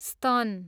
स्तन